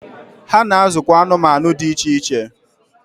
Ha na azụkwụ anụmanụ dị iche iche.